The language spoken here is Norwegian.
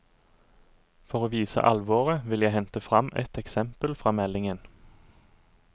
For å vise alvoret vil jeg hente frem ett eksempel fra meldingen.